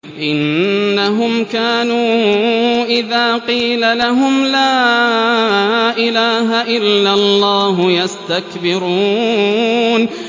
إِنَّهُمْ كَانُوا إِذَا قِيلَ لَهُمْ لَا إِلَٰهَ إِلَّا اللَّهُ يَسْتَكْبِرُونَ